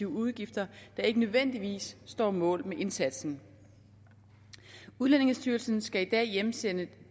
udgifter der ikke nødvendigvis står mål med resultatet af indsatsen udlændingestyrelsen skal i dag hjemsende